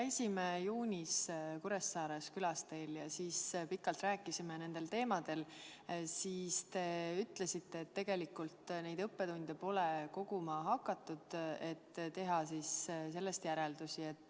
Kui me juunis Kuressaares teil külas käisime ja pikalt nendel teemadel rääkisime, siis te ütlesite, et tegelikult neid õppetunde pole koguma hakatud, et teha toimunust järeldusi.